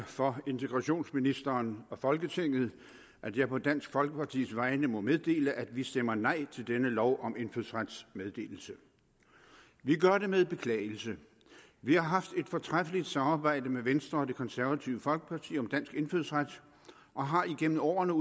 for integrationsministeren og folketinget at jeg på dansk folkepartis vegne må meddele at vi stemmer nej til denne lov om indfødsrets meddelelse vi gør det med beklagelse vi har haft et fortræffeligt samarbejde med venstre og det konservative folkeparti om dansk indfødsret og har igennem årene